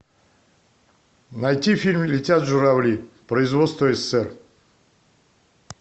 найти фильм летят журавли производство ссср